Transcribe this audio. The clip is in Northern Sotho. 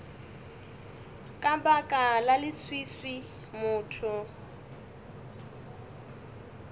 ka baka la leswiswi motho